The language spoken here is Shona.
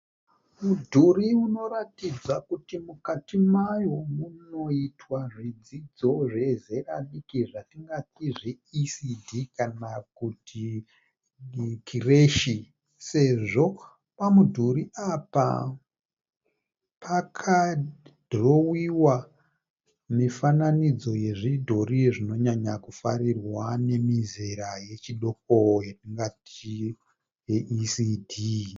Mudhuri unoratidza kuti mukati mayo munoitwa zvidzidzo zvezera diki zvatingati zve ECD kana kuti kireshi sezvo pamudhuri apa pakadhorowiwa mifananidzo yezvidhori zvinonyanya kufarirwa nemizera yechidoko yatingati yeECD.